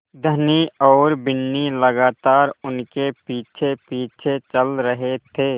धनी और बिन्नी लगातार उनके पीछेपीछे चल रहे थे